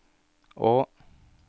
å